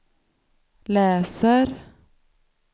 läser